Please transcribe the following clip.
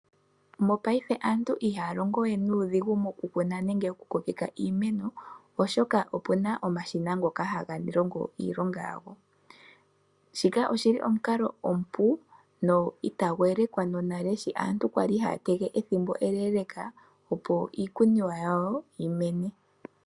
Mopaife aantu ihaa longowe nuudhingu moku kuna nenge moku kokeka iimeno oshoka opuna omashina ngoka haga longo iilonga yago. Shikaoshili omukalo omupu na itagu elekwa nonale shi aantu kwali haya tege ethimbo eleleka opo iikuniwa yawo yi mene.